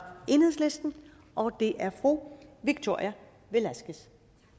enhedslisten og det er fru victoria velasquez